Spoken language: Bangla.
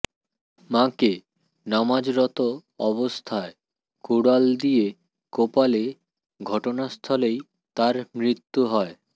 মাকে নামাজরত অবস্থায় কুড়াল দিয়ে কোপালে ঘটনাস্থলেই তার মৃত্যু হয়